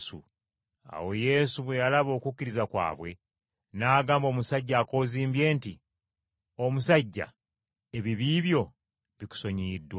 Awo Yesu bwe yalaba okukkiriza kwabwe, n’agamba omusajja akoozimbye nti, “Omusajja, ebibi byo bikusonyiyiddwa.”